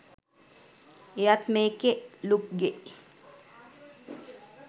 එයත් මේකෙ ලුක්ගෙ